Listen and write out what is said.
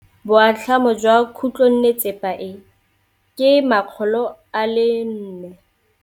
Boatlhamô jwa khutlonnetsepa e, ke 400.